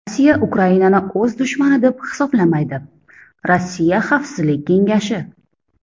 Rossiya Ukrainani o‘z dushmani deb hisoblamaydi Rossiya Xavfsizlik kengashi.